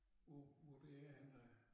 Hvor hvor det er henne af